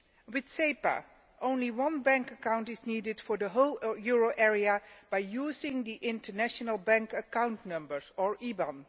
With SEPA only one bank account is needed for the whole euro area by using the international bank account number or IBAN.